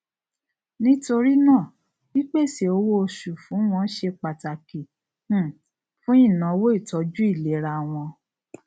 nítorí náà pípèsè owó oṣù fún wọn ṣe pàtàkì um fún ìnáwó ìtọjú ìlera wọn